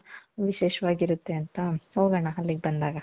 ವಿಶೇಷವಾಗಿ ಇರುತ್ತೆ ಅಂತ ಹೋಗಣ ಅಲ್ಲಿಗೆ ಬಂದಾಗ .